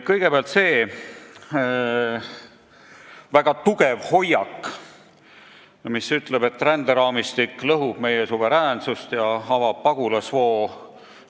Kõigepealt sellest väga tugevast hoiakust, mis ütleb, et ränderaamistik lõhub meie suveräänsust ja avab pagulasvoo.